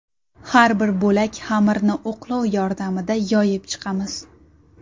Har bir bo‘lak xamirni o‘qlov yordamida yoyib chiqamiz.